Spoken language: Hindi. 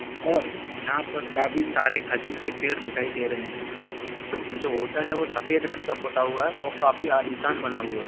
और यहाँ पर काफी सारे खजूर के पेड़ दिखाई दे रहे हैं जो होटल हैं वो सफ़ेद रंग का पोता हुआ हैं और काफी आलीशान बना हुआ हैं।